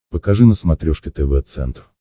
покажи на смотрешке тв центр